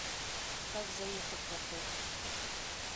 как заехать в отель